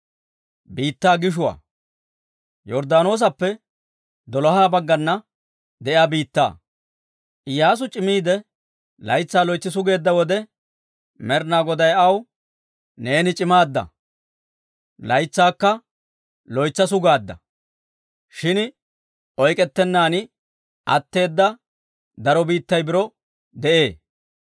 Iyyaasu c'imiide, laytsaa loytsi sugeedda wode, Med'ina Goday aw, «Neeni c'imaadda; laytsaakka loytsa sugaadda. Shin oyk'k'ettennan atteeda daro biittay biro de'ee.